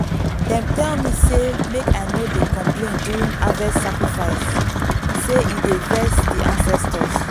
dem tell me say make i no dey complain during harvest sacrifice—say e dey vex di ancestors.